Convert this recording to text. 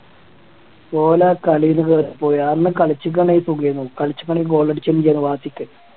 ഓല് ആ കളിന്ന് കേറി പോയി അന്ന് കളിച്ചിക്കാണെങ്കിൽ സുഖാരുന്നു കളിച്ചിക്കാണെങ്കിൽ goal അടിച്ചേനെ വാശിക്ക്